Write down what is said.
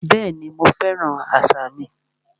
Bẹ́ẹ̀ni, mo fẹ́ràn àṣà mi